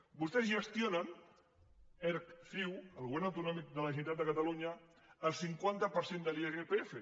vostès gestionen erc ciu el govern autonòmic de la generalitat de catalunya el cinquanta per cent de l’irpf